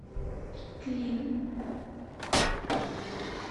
клин